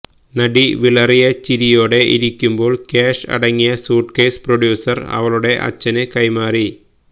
നടി വിളറിയ ചിരിയോടെ ഇരിക്കുമ്പോള് ക്യാഷ് അടങ്ങിയ സ്യൂട്ട് കെയ്സ് പ്രൊഡ്യൂസര് അവളുടെ അച്ഛന് കൈമാറി